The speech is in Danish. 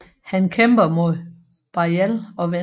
Han kæmper mod Beyal og vinder